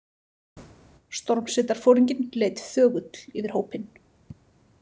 Stormsveitarforinginn leit þögull yfir hópinn.